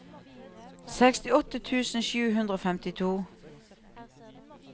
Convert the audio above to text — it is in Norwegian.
sekstiåtte tusen sju hundre og femtito